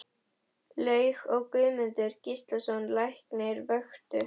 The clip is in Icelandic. Laug og Guðmundur Gíslason læknir vöktu